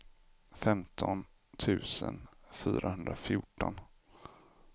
femton tusen fyrahundrafjorton